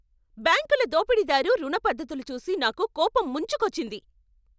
బ్యాంకుల దోపిడీదారు రుణ పద్ధతులు చూసి నాకు కోపం ముంచుకొచ్చింది.